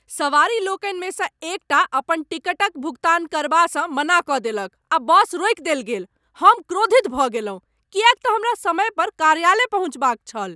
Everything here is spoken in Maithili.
सवारी लोकनिमे सँ एकटा अपन टिकटक भुगतान करबासँ मना कऽ देलक आ बस रोकि देल गेल। हम क्रोधित भऽ गेलहुँ किएक तँ हमरा समय पर कार्यालय पहुँचबाक छल।